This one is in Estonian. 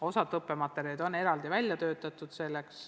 Osalt on õppematerjalid selleks eraldi välja töötatud.